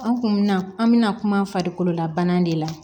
An kun mi na an bɛna kuma farikolo la bana de la